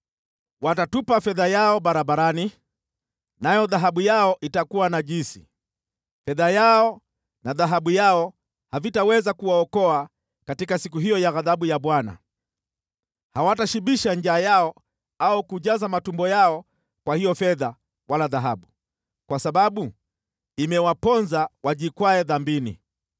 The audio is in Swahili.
Watatupa fedha yao barabarani, nayo dhahabu yao itakuwa najisi. Fedha yao na dhahabu yao havitaweza kuwaokoa katika siku hiyo ya ghadhabu ya Bwana . Hawatashibisha njaa yao au kujaza matumbo yao kwa hiyo fedha wala dhahabu, kwa sababu imewaponza wajikwae dhambini.